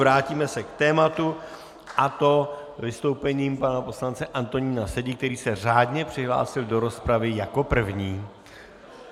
Vrátíme se k tématu, a to vystoupením pana poslance Antonína Sedi, který se řádně přihlásil do rozpravy jako první.